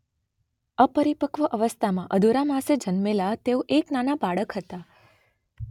અપરિપક્વ અવસ્થામાં અધૂરા માસે જન્મેલા તેઓ એક નાના બાળક હતા.